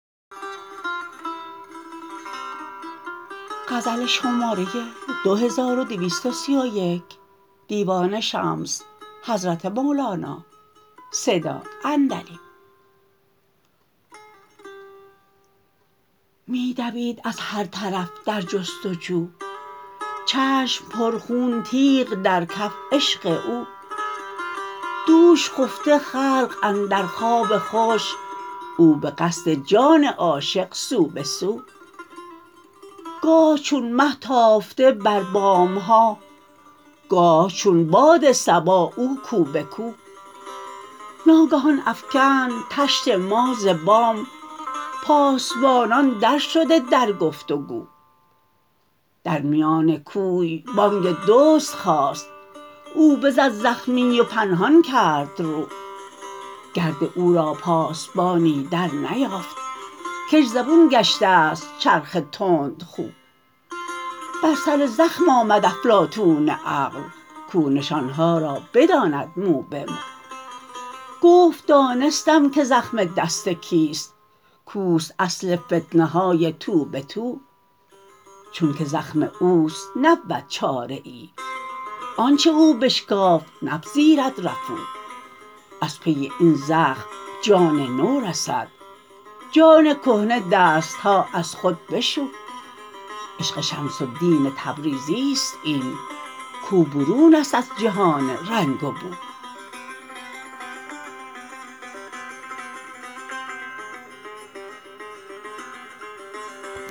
می دوید از هر طرف در جست و جو چشم پرخون تیغ در کف عشق او دوش خفته خلق اندر خواب خوش او به قصد جان عاشق سو به سو گاه چون مه تافته بر بام ها گاه چون باد صبا او کو به کو ناگهان افکند طشت ما ز بام پاسبانان درشده در گفت و گو در میان کوی بانگ دزد خاست او بزد زخمی و پنهان کرد رو گرد او را پاسبانی درنیافت کش زبون گشته ست چرخ تندخو بر سر زخم آمد افلاطون عقل کو نشان ها را بداند مو به مو گفت دانستم که زخم دست کیست کو است اصل فتنه های تو به تو چونک زخم او است نبود چاره ای آنچ او بشکافت نپذیرد رفو از پی این زخم جان نو رسید جان کهنه دست ها از خود بشو عشق شمس الدین تبریزی است این کو برون است از جهان رنگ و بو